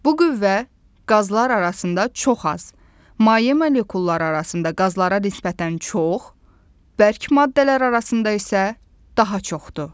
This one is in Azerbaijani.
Bu qüvvə qazlar arasında çox az, maye molekulları arasında qazlara nisbətən çox, bərk maddələr arasında isə daha çoxdur.